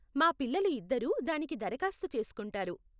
మా పిల్లలు ఇద్దరూ దానికి దరఖాస్తు చేసుకుంటారు.